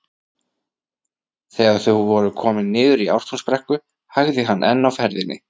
Þegar þau voru komin niður í Ártúnsbrekku hægði hann enn á ferðinni.